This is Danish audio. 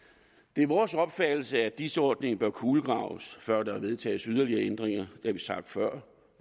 det er vores opfattelse at dis ordningen bør kulegraves før der vedtages yderligere ændringer har vi sagt før